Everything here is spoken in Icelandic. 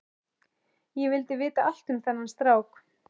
Ég vildi vita allt um þennan strák.